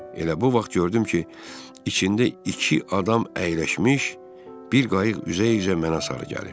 Elə bu vaxt gördüm ki, içində iki adam əyləşmiş bir qayıq üzə-üzə mənə sarı gəlir.